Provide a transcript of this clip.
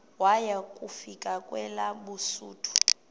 waya kufika kwelabesuthu